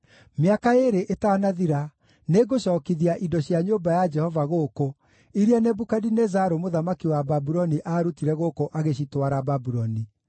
Mĩaka ĩĩrĩ ĩtanathira, nĩngũcookithia indo cia nyũmba ya Jehova gũkũ, iria Nebukadinezaru mũthamaki wa Babuloni aarutire gũkũ agĩcitwara Babuloni.